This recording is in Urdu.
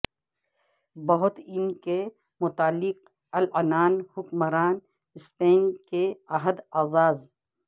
بہت ان کے مطلق العنان حکمران سپین کے عہد اعزاز